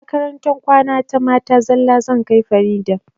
Makarantar kwana ta mata zalla zan kai farida